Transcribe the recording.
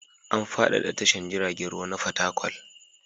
An faɗaɗa tashan jiragen ruwa ta Fatakwal.